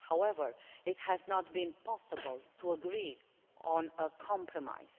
however, it has not been possible to agree on a compromise.